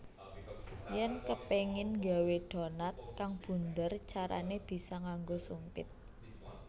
Yèn kepéngin nggawé donat kang bunder carané bisa nganggo sumpit